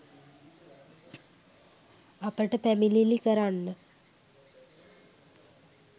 අපිට පැමිණිලි කරන්න